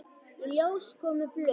Í ljós komu blöð.